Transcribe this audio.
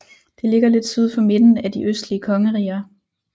Det ligger lidt syd for midten af de østlige kongeriger